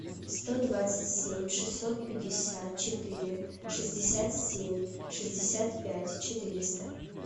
сто двадцать семь шестьсот пятьдесят четыре шестьдесят семь шестьдесят пять четыреста